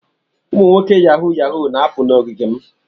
Ụmụ nwoke Yahoo yahoo na-apụ na ogige m.